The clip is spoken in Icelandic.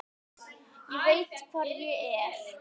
Og veit hvar ég er.